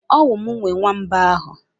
Ọwu mụ nwe nwamba ahụ?